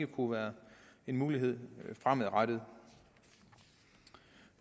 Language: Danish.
kunne være en mulighed fremadrettet